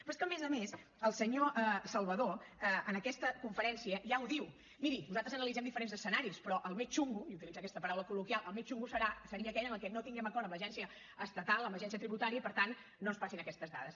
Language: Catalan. però és que a més a més el senyor salvadó en aquesta conferència ja ho diu miri nosaltres analitzem diferents escenaris però el més xungo i utilitza aquesta paraula col·loquial el més xungo seria aquell en el que no tinguem acord amb l’agència estatal amb l’agència tributària i per tant no ens passin aquestes dades